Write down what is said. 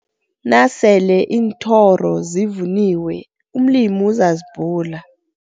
Nasele iinthoro zivuniwe umlimi uzazibhula.